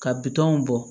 Ka bitɔnw bɔ